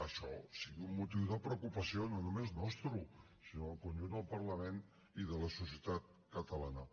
això sigui un motiu de preocupació no només nostre sinó del conjunt del parlament i de la societat catalana